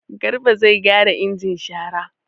Garba zai gyara injin shara.